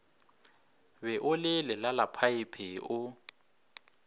be o le lelalaphaephe o